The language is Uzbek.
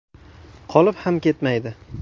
Qolib ham ketmaydi!